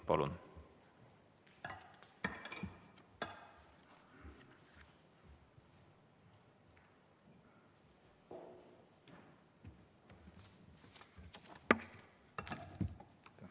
Palun!